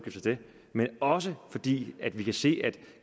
det men også fordi vi kan se at